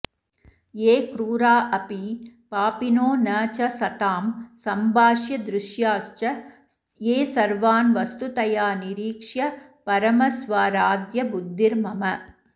ये क्रूरा अपि पापिनो न च सतां सम्भाष्यदृश्याश्च ये सर्वान् वस्तुतया निरीक्ष्य परमस्वाराध्यबुद्धिर्मम